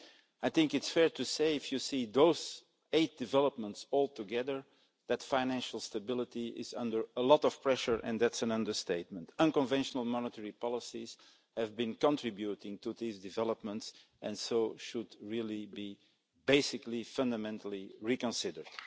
I think it's fair to say, if you see those eight developments all together, that financial stability is under a lot of pressure and that's an understatement. Unconventional monetary policies have been contributing to these developments and so should really be, basically, fundamentally reconsidered.